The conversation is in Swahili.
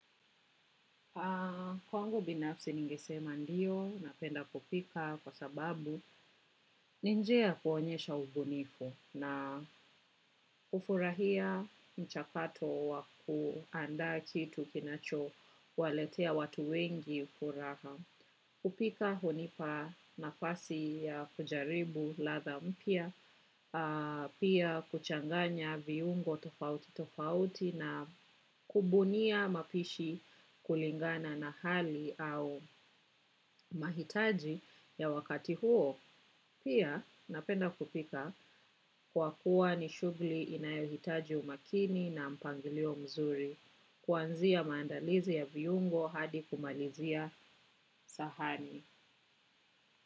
Kwangu binafsi ningesema ndiyo, napenda kupika kwa sababu, ninjia ya kuonyesha ubunifu na hufurahia mchakato wa kuanda kitu kinacho waletea watu wengi furaha. Kupika hunipa nafasi ya kujaribu ladha mpya pia kuchanganya viungo tofauti tofauti na kubunia mapishi kulingana na hali au mahitaji ya wakati huo. Pia napenda kupika kwa kuwa ni shughuli inayohitaji umakini na mpangilio mzuri, kuanzia maandalizi ya viungo hadi kumalizia sahani.